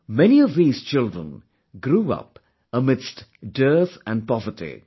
Many of these children grew up amidst dearth and poverty